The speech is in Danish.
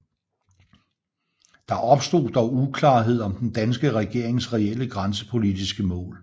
Der opstod dog uklarhed om den danske regerings reelle grænsepolitiske mål